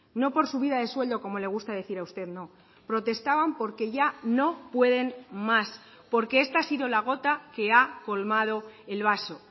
no por subida de sueldo como le gusta decir a usted no protestaban porque ya no pueden más porque esta ha sido la gota que ha colmado el vaso